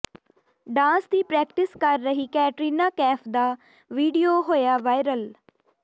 dance ਦੀ practice ਕਰ ਰਹੀ ਕੈਟਰੀਨਾ ਕੈਫ ਦਾ ਵੀਡੀਓ ਹੋਇਆ ਵਾਇਰਲ